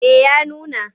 Eh ya nuna.